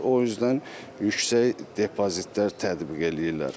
O üzdən yüksək depozitlər tətbiq eləyirlər.